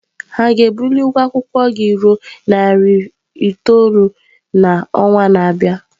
Ha ga-ebuli ụgwọ akwụkwọ gị ruo narị naira itoolu n'ọnwa na-abịa?